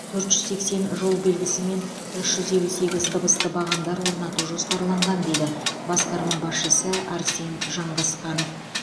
төрт жүз сексен жол белгісі мен үш жүз елу сегіз дыбысты бағандар орнату жоспарланған дейді басқарма басшысы арсен жанғасқанов